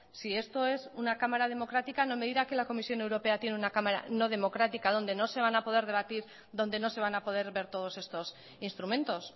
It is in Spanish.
si esto es una cámara democrática no me dirá que la comisión europea tiene una cámara no democrática donde no se van a poder debatir donde no se van a poder ver todos estos instrumentos